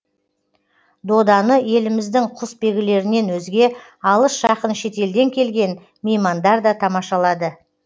доданы еліміздің құсбегілерінен өзге алыс жақын шетелден келген меймандар да тамашалады